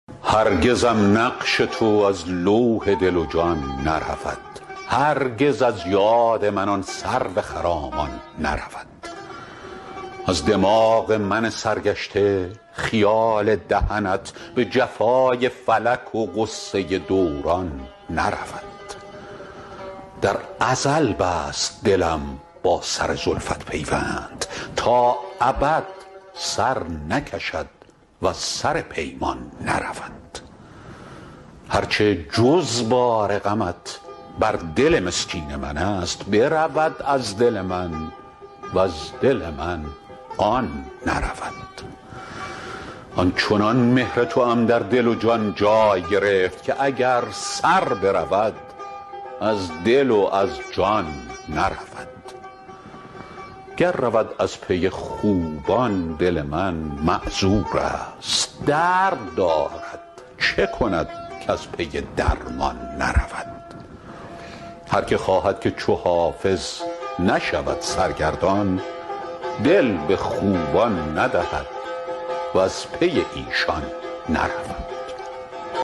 هرگزم نقش تو از لوح دل و جان نرود هرگز از یاد من آن سرو خرامان نرود از دماغ من سرگشته خیال دهنت به جفای فلک و غصه دوران نرود در ازل بست دلم با سر زلفت پیوند تا ابد سر نکشد وز سر پیمان نرود هر چه جز بار غمت بر دل مسکین من است برود از دل من وز دل من آن نرود آن چنان مهر توام در دل و جان جای گرفت که اگر سر برود از دل و از جان نرود گر رود از پی خوبان دل من معذور است درد دارد چه کند کز پی درمان نرود هر که خواهد که چو حافظ نشود سرگردان دل به خوبان ندهد وز پی ایشان نرود